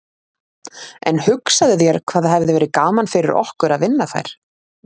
En hugsaðu þér hvað hefði verið gaman fyrir okkur að vinna þær.